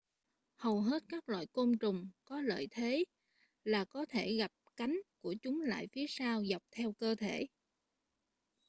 hầu hết các loài côn trùng có lợi thế là có thể gập cánh của chúng lại phía sau dọc theo cơ thể